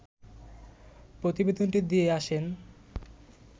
প্রতিবেদনটি দিয়ে আসেন